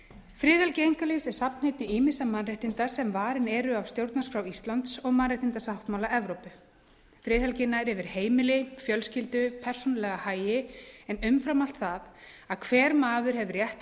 friðhelgi einkalífs er safnheiti ýmissa mannréttinda sem varin eru af stjórnarskrá íslands og mannréttindasáttmála evrópu friðhelgin nær yfir heimili fjölskyldu persónulega hagi en umfram allt það að hver maður hefur rétt til